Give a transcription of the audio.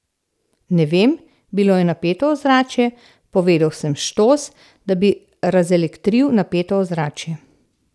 Ne vem, bilo je napeto ozračje, povedal sem štos, da bi razelektril napeto ozračje.